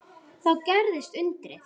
Þá gerðist undrið.